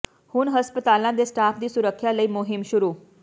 ਹੁਣ ਹਸਪਤਾਲਾਂ ਦੇ ਸਟਾਫ਼ ਦੀ ਸੁਰੱਖਿਆ ਲਈ ਮੁਹਿੰਮ ਸ਼ੁਰੂ